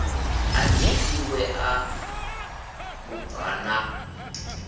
anzi i ṋewa mubvann ḓa